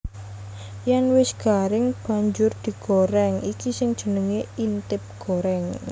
Yèn wis garing banjur digorèng iki sing jenengé intip gorèng